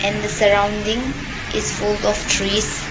And the surrounding is full of trees.